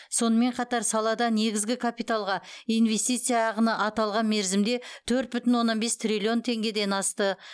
сонымен қатар салада негізгі капиталға инвестиция ағыны аталған мерзімде төрт бүтін оннан бес триллион теңгеден асты